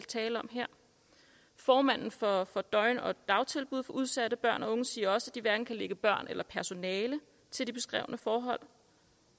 tale om her formanden for af døgn og dagtilbud for udsatte børn og unge siger også at de hverken kan lægge børn eller personale til de beskrevne forhold